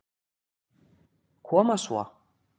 Koma svo.